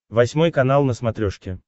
восьмой канал на смотрешке